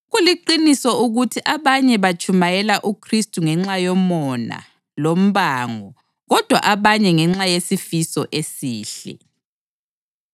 Kuliqiniso ukuthi abanye batshumayela uKhristu ngenxa yomona lombango kodwa abanye ngenxa yesifiso esihle.